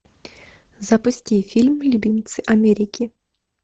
запусти фильм любимцы америки